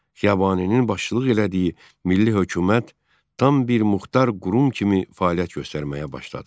Xiyabaninin başçılıq elədiyi Milli hökumət tam bir muxtar qurum kimi fəaliyyət göstərməyə başladı.